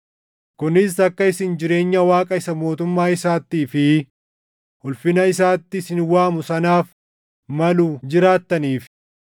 kunis akka isin jireenya Waaqa isa mootummaa isaattii fi ulfina isaatti isin waamu sanaaf malu jiraattaniif.